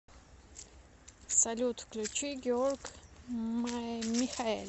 салют включи георг михаэль